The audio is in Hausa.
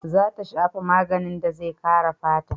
Za ta shafa maganin da zai kare fata.